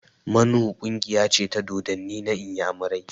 Mmanwu ƙungiya ce ta dodanni na inyamurai